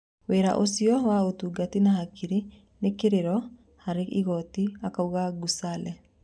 "Wĩra ũcio wa ũtungi na hakiri nĩ kĩrĩro harĩ igoti," akauga Gusale.